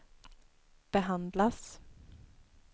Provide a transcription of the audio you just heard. behandlas